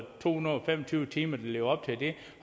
to hundrede og fem og tyve timer og lever op til det